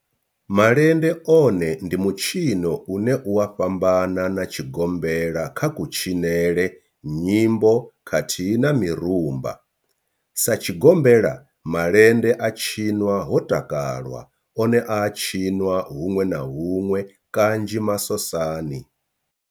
Malende one ndi mitshino une u a fhambana na tshigombela kha kutshinele, nyimbo khathihi na mirumba. Sa tshigombela, malende a tshinwa ho takalwa, one a a tshiniwa hunwe na hunwe kanzhi masosani.